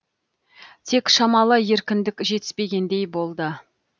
тек шамалы еркіндік жетіспегендей болды